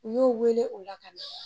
U y'o wele o la ka